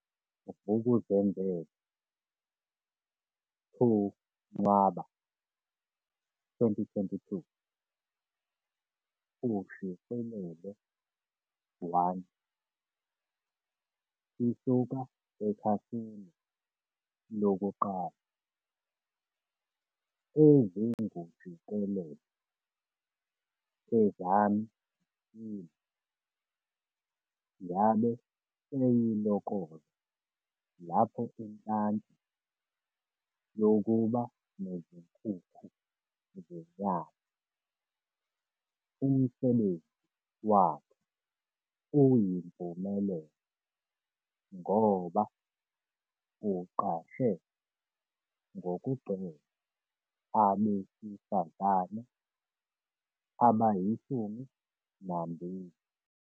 Vuk'uzenzele 2 Ncwaba 2022. Ushicilelo 1. Isuka ekhasini loku-1. EZINGUJIKELELE ezami ziphila. Yabe seyilokoza lapho inhlansi yokuba nezinkukhu zenyama. Umsebenzi wakhe uyimpumelelo ngoba uqashe ngokugcwele abesifazane abayi-12.